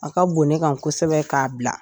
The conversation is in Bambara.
A ka bon ne ka kosɛbɛ k'a bila